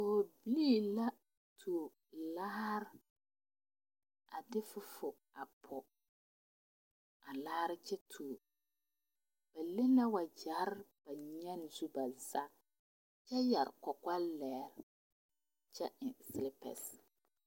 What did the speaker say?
Pɔgrbilii la tuo laare a de fuful a pɔge a laare kyɛ tuo ba le na wagyɛrre ba nyaane zu ba zaa a kyɛ yɛre kɔkɔlege kyɛ eŋ selepɛse.